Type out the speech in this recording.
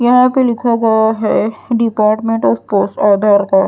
यहां पे लिखा गया है डिपार्टमेंटऑफ आधार कार्ड ।